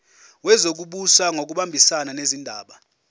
wezokubusa ngokubambisana nezindaba